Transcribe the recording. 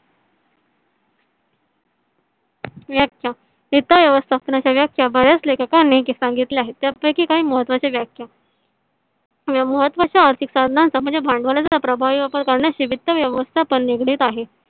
वित्त वित्त व्यवस्थापन बऱ्याच श्या लेखकांनी सांगितले आहे. त्यापैकी काही महत्वाच्या व्याख्या महत्वाच्याआर्थिक कारणाचा म्हणजे भांडवळचा प्रभावी वापर करण्याचे वित्त व्यवस्थापन निगडीत आहे.